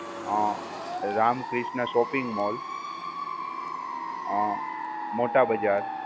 અમ Ramakrishna shopping mall અમ મોટા બજાર